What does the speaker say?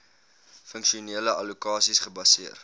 funksionele allokasies gebaseer